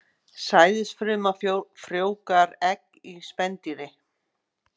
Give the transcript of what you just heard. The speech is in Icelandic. Sæðisfruma frjóvgar egg í spendýri.